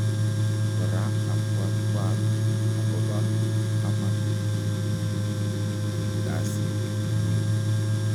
kora abwatwag agoba kamagutyetnyin an gasiit nyin